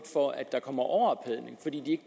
for at der kommer overophedning fordi de